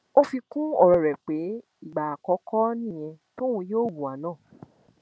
ó fi kún ọrọ rẹ pé ìgbà àkọọkọ nìyẹn tóun yóò hùwà náà